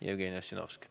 Jevgeni Ossinovski.